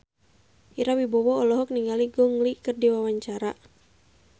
Ira Wibowo olohok ningali Gong Li keur diwawancara